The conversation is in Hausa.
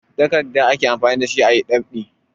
Takardu ake amfani da su a yi ɗab'i.